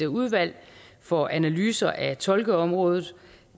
udvalg for analyse af tolkeområdet